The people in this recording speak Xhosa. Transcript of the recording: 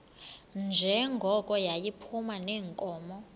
njengoko yayiphuma neenkomo